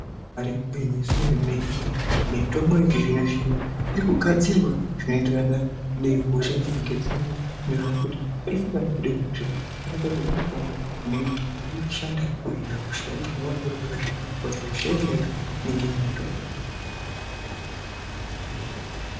Ibari gwinyiso remene mitombo yechizvinozvino irikugadzirwa zvinoenderana nehosha dzinenge dziriyo, zvinobhuyekuti peshe panobude hosha panogadzirwe mutombo unenge weshanda kuhina hosha ,zvinonga zviri zviro zvakanaka kuti hosha yega yega inonga ine mutombo.